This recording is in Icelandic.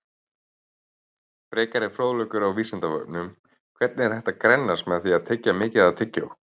Frekari fróðleikur á Vísindavefnum: Er hægt að grennast með því að tyggja mikið tyggjó?